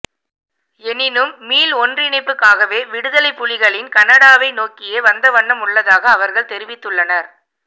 எனினும் மீள்ஒன்றிணைப்புக்காகவே விடுதலைப்புலிகளின் கனடாவை நோக்கியே வந்தவண்ணம் உள்ளதாக அவர்கள் தெரிவித்துள்ளனர்